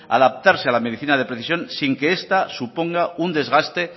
adaptarse a la medicina de precisión sin que esta suponga un desgaste